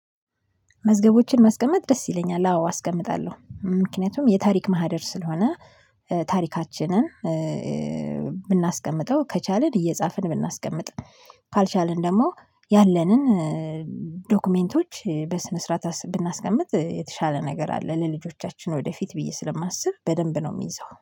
መዝገቦችን ማስቀመጥ ደስ ይለኛል። አዎ አስቀምጣለሁ ምክንያቱም የታሪክ ማህደር ስለሆነ። ታሪካችንን ብናስቀምጠው ከቻልን እየጻፍን ብናስቀምጥ። ካልቻልን ደግሞ ያለንን ዶክሜንቶች በስነ ስርዓት ብናስቀምጥ የተሻለ ነገር አለ። ለልጆቻችን ወደፊት ብዬ ስለማስብ በደንብ ነው የምይዘው